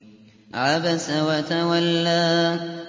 عَبَسَ وَتَوَلَّىٰ